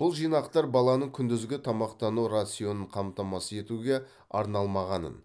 бұл жинақтар баланың күндізгі тамақтану рационын қамтамасыз етуге арналмағанын